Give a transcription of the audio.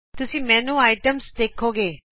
ਤੁਸੀਂ ਮੈਨੂ ਆਇਟਮਜ਼ ਦੇਖੋ ਗੇ